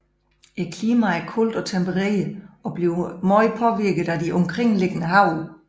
Klimaet er koldt og tempereret og bliver meget påvirket af de omkringeliggende have